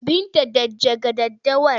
Binta dakja daddawar!